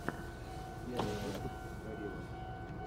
первый выпуск гориллас